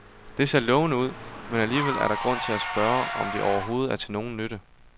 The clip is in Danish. Det ser lovende ud, men alligevel er der grund til at spørge, om det overhovedet er til nogen nytte.